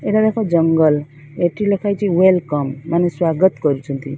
ଏଠାରେ ଏକ ଜଙ୍ଗଲ ଏଟି ଲେଖା ହୋଇଛି ୱେଲ କମ ମାନେ ସ୍ବାଗତ କରୁଛନ୍ତି।